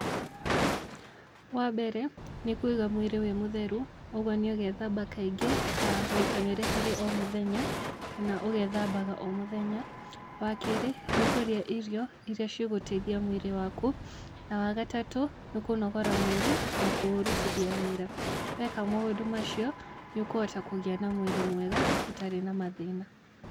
Wambere nĩ kũiga mwĩrĩ wĩ mũtheru, oguo nĩũgethamba kaingĩ ta maita merĩ harĩ o mũthenya, kana ũgethambaga o mũthenya. Wakerĩ nĩkũria irio iria igũteithia mwĩrĩ waku, na wa gatatũ nĩ kũnogora mwĩrĩ na kũũrutithia wĩra, weka maũndũ macio nĩũkũhota kũgĩa na mwĩrĩ mwega ũtarĩ na mathĩna.